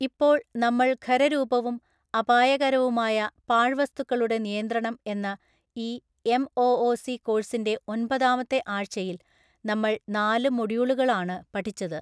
ഇപ്പോൾ നമ്മൾ ഖര രൂപവും അപായകരവുമായ പാഴ് വസ്തുക്കളുടെ നിയന്ത്രണം എന്ന ഈ എം.ഒ.ഒ.സി. കോഴ്സിന്റെ ഒൻപതാമത്തെ ആഴ്ചയിൽ നമ്മൾ നാല് മോഡ്യൂളുകൾആണ് പഠിച്ചത്.